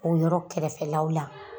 O yɔrɔ kɛrɛfɛlaw la;